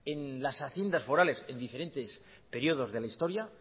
en las haciendas forales en diferentes periodos de la historia